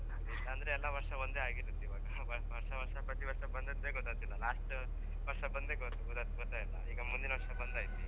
ಇಲ್ಲಾಂದ್ರೆ ಎಲ್ಲ ವರ್ಷ ಒಂದೇ ಆಗಿರುತ್ತ್ ಇವಾಗ ವರ್ಷ ವರ್ಷ ಪ್ರತಿ ವರ್ಷ ಬಂದದ್ದೇ ಗೊತ್ತತ್ತಿಲ್ಲ last ವರ್ಷ ಗೊತ್ತಾಯಿಲ್ಲ ಈಗ ಮುಂದಿನ ವರ್ಷ ಬಂದಾಯ್ತ್ ಈಗ